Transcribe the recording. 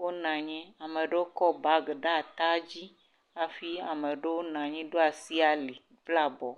wonɔ anyi, ame ɖewo kɔ bagi ɖe ata dzi hafi ame ɖewo nɔ anyi ɖo asi ali kple abɔ.